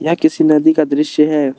यह किसी नदी का दृश्य है।